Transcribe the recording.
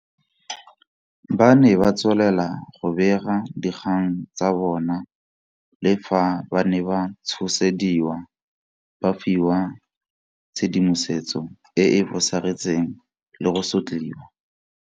Ba ne ba tswelela go bega dikgang tsa bona le fa ba ne ba tshosediwa, ba fiwa tshedimosetso e e fosagetseng le go sotliwa.